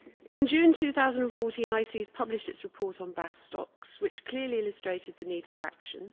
In June 2014 ICES published its report on bass stocks, which clearly illustrated the need for action.